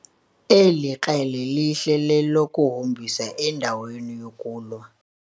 eli krele lihle lelokuhombisa endaweni yokulwa